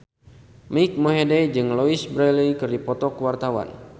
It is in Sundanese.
Mike Mohede jeung Louise Brealey keur dipoto ku wartawan